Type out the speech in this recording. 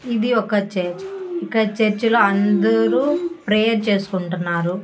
ఇది ఒక చర్చ్ ఇక్కడ చర్చిలో అందరూ ప్రేయర్ చేసుకుంటున్నారు.